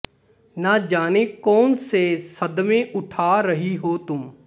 ਨਾ ਜਾਨੇ ਕੌਨ ਸੇ ਸਦਮੇ ਉਠਾ ਰਹੀ ਹੋ ਤੁਮ